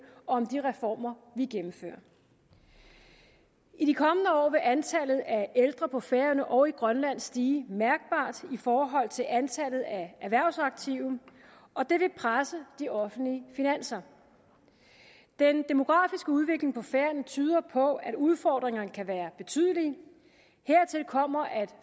og om de reformer vi gennemfører i de kommende år vil antallet af ældre på færøerne og i grønland stige mærkbart i forhold til antallet af erhvervsaktive og det vil presse de offentlige finanser den demografiske udvikling på færøerne tyder på at udfordringerne kan være betydelige hertil kommer at